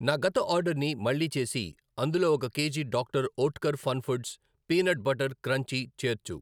నా గత ఆర్డర్ని మళ్ళీ చేసి అందులో ఒక K G doctor Oetker fun foods peanut butter crunchy చేర్చు.